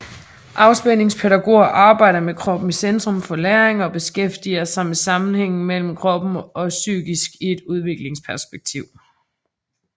Afspændingspædagoger arbejder med kroppen i centrum for læring og beskæftiger sig med sammenhængen mellem krop og psyke i et udviklingsperspektiv